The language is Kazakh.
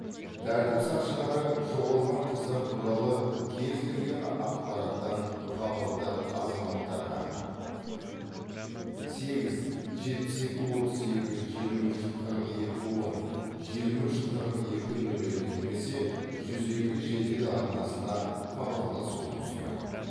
тәртіп сақшылары жоғалған қыздар туралы кез келген ақпараттан хабардар азаматтарға сегіз жетпіс екі отыз екі жиырма үш қырық екі он жиырма үш қырық екі нөл екі немесе жүз екі жедел арнасына хабарласуын сұрайды